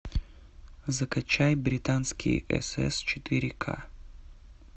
закачай британские сс четыре ка